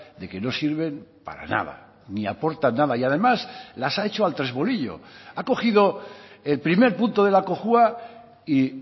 de que no sirven para nada ni aportan nada y además las ha hecho al tresbolillo ha cogido el primer punto de la cojua y